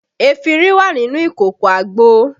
Efinrin wà nínú ìkòkò àgbo